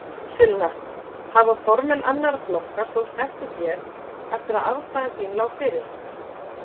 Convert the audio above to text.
Sunna: Hafa formenn annarra flokka sóst eftir þér eftir að afstaða þín lá fyrir?